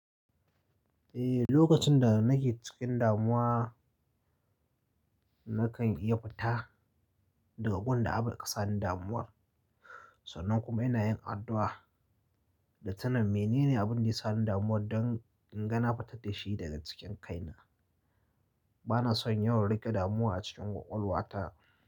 Eh, lokacin da nake cikin damuwa, nakan iya fita daga gun da abin, da aka sani damuwar. Sannan kuma ina yin addu'a, da tuna mene ne abin da ya sani damuwar, don in ga na fitar dashi daga cikin kaina. Bana son yawan riƙe damuwa a cikin ƙwaƙwalwata.